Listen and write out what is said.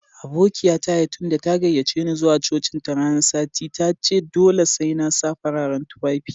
Aboƙiya ta Yetunde, ta gayyace ni zuwa cocin ta ran sati. Ta ce dolle sai na sa fararen tuffafi.